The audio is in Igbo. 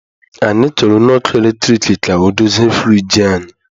Anyị chọrọ onye ọkụ eletrik ka ọ dozie friji anyị